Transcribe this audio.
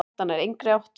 Þetta nær engri átt.